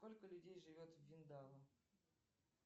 сколько людей живет в виндао